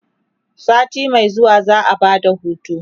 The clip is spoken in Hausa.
sati Mai zuwa za'a Bada hutu